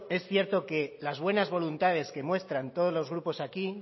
es cierto que las buenas voluntades que muestran todos los grupos aquí